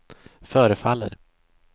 förefaller